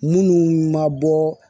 Minnu ma bɔ